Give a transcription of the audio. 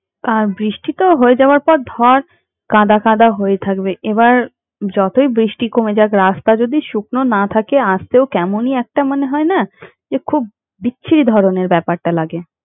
আর বৃষ্টি তো হয়ে যাওয়ার পর ধরে কাদা কাদা হয়ে থাকবে এবার যতই বৃষ্টি কমে যাক রাস্তা যদি শুকনো না থাকে আসতেও কেমনই একটা মনে হয় না? যে খুব বিচ্ছিরি ধরণের ব্যাপারটা লাগে।